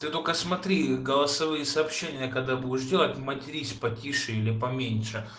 ты только смотри голосовые сообщения когда будешь делать матерись потише или поменьше